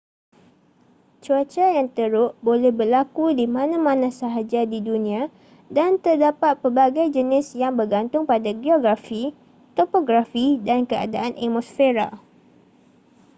cuaca yang teruk boleh berlaku di mana-mana sahaja di dunia dan terdapat pelbagai jenis yang bergantung pada geografi topografi dan keadaan atmosfera